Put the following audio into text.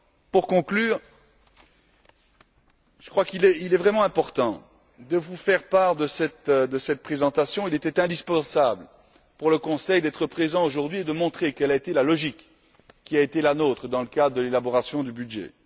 Pour conclure, je crois qu'il était vraiment important de vous faire part de cette présentation, il était indispensable pour le Conseil d'être présent aujourd'hui et de montrer quelle a été la logique qui a été la nôtre dans le cadre de l'élaboration du budget.